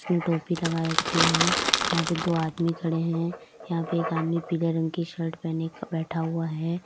टोपी लगा रखी है यहां पे दो आदमी खड़े हैं यहां पे एक आदमी पीले रंग की शर्ट ख पहने बैठा हुआ है।